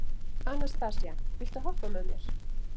Anastasía, viltu hoppa með mér?